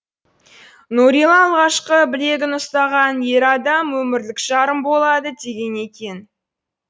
нүрила алғашқы білегін ұстаған ер адам өмірлік жарым болады деген екен